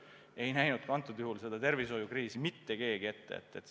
Ei näinud ka seda tervishoiukriisi mitte keegi ette.